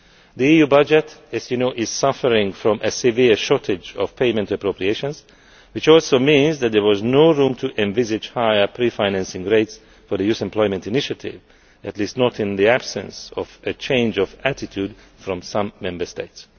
The EU budget, as you know, is suffering from a severe shortage of payment appropriations, which also means that there was no room to envisage higher pre financing rates for the Youth Employment Initiative, at least not in the absence of a change of attitude from some Member States.